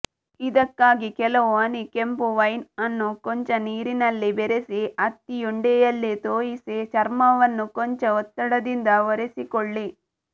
ಇದಕ್ಕಾಗಿ ಕೆಲವು ಹನಿ ಕೆಂಫು ವೈನ್ ಅನ್ನು ಕೊಂಚ ನೀರಿನಲ್ಲಿ ಬೆರೆಸಿ ಹತ್ತಿಯುಂಡೆಯಲ್ಲಿ ತೋಯಿಸಿ ಚರ್ಮವನ್ನು ಕೊಂಚ ಒತ್ತಡದಿಂದ ಒರೆಸಿಕೊಳ್ಳಿ